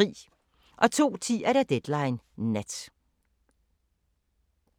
02:10: Deadline Nat